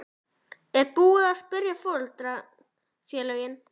Er búið að spyrja foreldrafélögin?